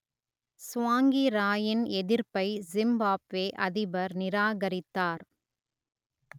சுவாங்கிராயின் எதிர்ப்பை சிம்பாப்வே அதிபர் நிராகரித்தார்